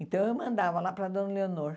Então eu mandava lá para a dona Leonor.